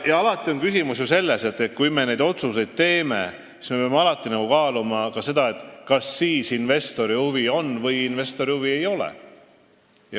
Alati on küsimus ju selles, et kui me neid otsuseid teeme, siis me peame kaaluma ka seda, kas siis investoril huvi on või ei ole.